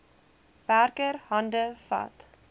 werker hande vat